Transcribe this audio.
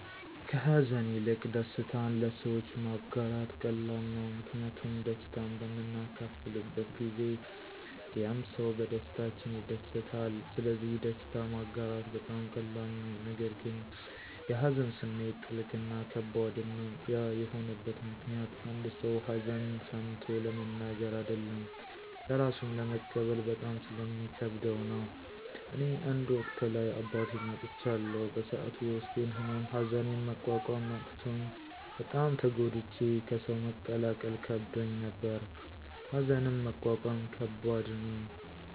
ከሀዘን ይልቅ ደስታን ለሰዎች ማጋራት ቀላል ነው። ምክንያቱም ደስታን በምናካፍልበት ጊዜ ያምሰው በደስታችን ይደሰታል ስለዚህ ደስታ ማጋራት በጣም ቀላል ነው። ነገር ግን የሀዘን ስሜት ጥልቅ እና ከባድም ነው። ያ የሆነበት ምክኒያት አንድ ሰው ሀዘን ሰምቾ ለመናገር አደለም ለራሱም ለመቀበል በጣም ስለሚከብደው ነው። እኔ አንድ ወቅት ላይ አባቴን አጥቻለሁ በሰዐቱ የውስጤን ህመም ሀዘኒን መቆቆም አቅቾኝ በጣም ተጎድቼ ከሰው መቀላቀል ከብዶኝ ነበር። ሀዘንን መቆቆም ከባድ ነው።